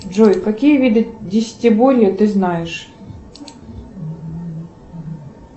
джой какие виды десятиборья ты знаешь